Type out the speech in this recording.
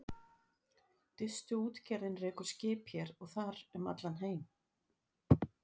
Distuútgerðin rekur skip hér og þar um allan heim.